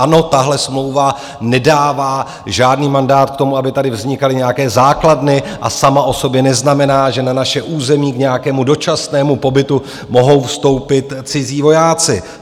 Ano, tahle smlouva nedává žádný mandát k tomu, aby tady vznikaly nějaké základny, a sama o sobě neznamená, že na naše území k nějakému dočasnému pobytu mohou vstoupit cizí vojáci.